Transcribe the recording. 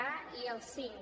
a i el cinc